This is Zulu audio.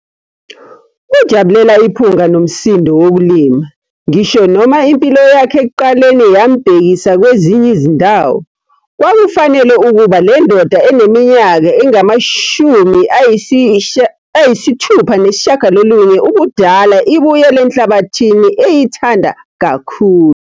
Ujabulela iphunga nomsindo wokulima ngisho noma impilo yakhe ekuqaleni yambhekisa kwezinye izindawo, kwakufanele ukuba le ndoda eneminyaka engama-69 ubudala ibuyele enhlabathini eyithanda kakhulu.